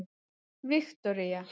Viktoría